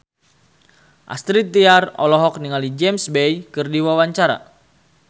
Astrid Tiar olohok ningali James Bay keur diwawancara